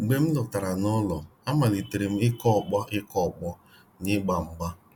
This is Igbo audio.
Mgbe m lọtara n'ụlọ, amalitere m ịkụ ọkpọ ịkụ ọkpọ na-ịgba mgba.